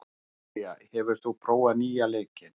Dalía, hefur þú prófað nýja leikinn?